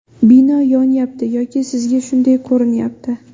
Bino yonyapti yoki sizga shunday ko‘rinyapti.